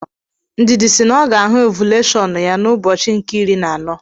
Ndidi si na ọ ga-ahụ ovuleshọnụ ya n'ụbọchị nke iri na anọ.